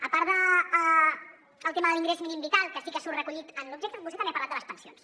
a part del tema de l’ingrés mínim vital que sí que surt recollit en l’objecte vostè també ha parlat de les pensions